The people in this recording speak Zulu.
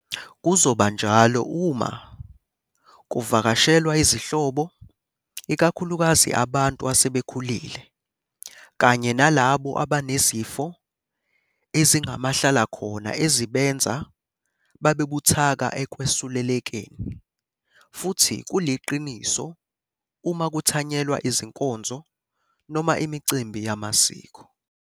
Kuzoba njalo uma ku vakashelwa izihlobo, ikakhulukazi abantu asebekhulile kanye nalabo abanezifo ezingamahlalakhona ezibenza babe buthakathaka ekwesulelekeni. Futhi kuliqiniso uma kuthanyelwa izinkonzo noma imicimbi yamasiko.